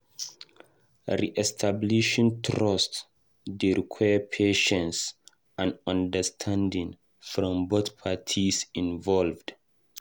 Re-establishing trust dey require patience and understanding from both parties involved.